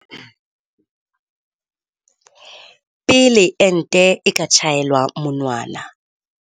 pele ente e ka tjhaelwa monwana.